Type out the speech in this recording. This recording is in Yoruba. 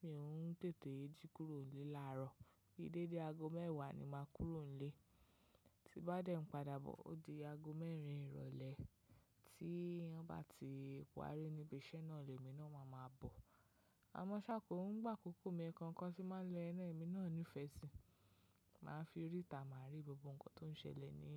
mi ò ún tètè jí kúrò nílé làárọ̀. Kí dédé aago mẹ́wàá ni màá kúrò nílé, tí bá dẹ̀ padà bọ̀ ó di aago mẹ́rin ìrọ̀lẹ́ tí wọ́n bá ti parí níbi iṣẹ́ náà ni èmi náà máa ma bọ̀. Àmọ́ ṣá kò ń gbà kókó mi ẹẹkan kọ́ tí máa ń lọ ẹná èmi náà nífẹ̀ẹ́ sí, màá fi rí tà máa rí gbogbo nǹkan tó ń ṣẹlẹ̀ ní